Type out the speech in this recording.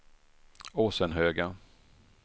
Åsenhöga